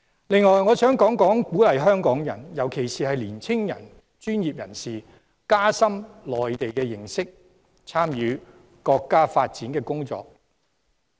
另外，我想提出，政府應鼓勵香港人，特別是年青專業人士加深對內地的認識，參與國家發展的工作。